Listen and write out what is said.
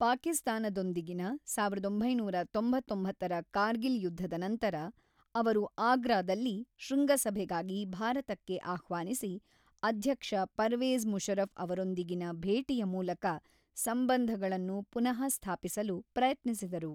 ಪಾಕಿಸ್ತಾನದೊಂದಿಗಿನ ಸಾವಿರದ ಒಂಬೈನೂರ ತೊಂಬತ್ತೊಂಬತ್ತರ ಕಾರ್ಗಿಲ್ ಯುದ್ಧದ ನಂತರ, ಅವರು ಆಗ್ರಾದಲ್ಲಿ ಶೃಂಗಸಭೆಗಾಗಿ ಭಾರತಕ್ಕೆ ಆಹ್ವಾನಿಸಿ, ಅಧ್ಯಕ್ಷ ಪರ್ವೇಜ್ ಮುಷರಫ್ ಅವರೊಂದಿಗಿನ ಭೇಟಿಯ ಮೂಲಕ ಸಂಬಂಧಗಳನ್ನು ಪುನಃಸ್ಥಾಪಿಸಲು ಪ್ರಯತ್ನಿಸಿದರು.